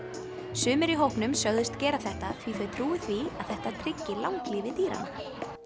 sumir í hópnum sögðust gera þetta því þau trúi því að þetta tryggi langlífi dýranna